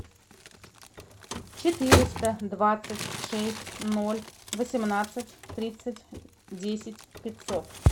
четыреста двадцать шесть ноль восемнадцать тридцать десять пятьсот